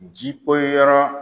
Ji poyi la.